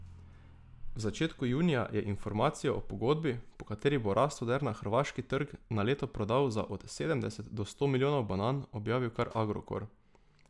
V začetku junija je informacijo o pogodbi, po kateri bo Rastoder na hrvaški trg na leto prodal za od sedemdeset do sto milijonov banan, objavil kar Agrokor.